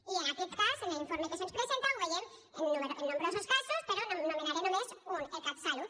i en aquest cas en l’informe que se’ns presenta ho veiem en nombrosos casos però n’anomenaré només un el catsalut